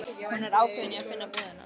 Hún var ákveðin í að finna búðina.